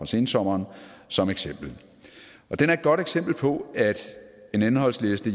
sensommeren som eksempel og den er et godt eksempel på at en indholdsliste